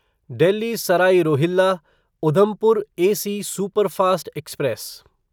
Delhi Sarai Rohilla Udhampur AC superfast express